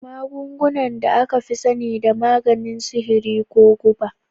Magunguna da aka fi sani da maganin sihiri ko guba.